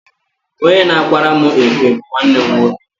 Onye na-akwara mụ efe bu nwanne m nwoke.